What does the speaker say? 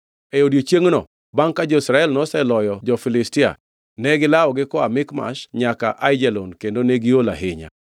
E odiechiengno, bangʼ ka jo-Israel noseloyo jo-Filistia ne gilawogi koa Mikmash nyaka Aijalon kendo ne giol ahinya.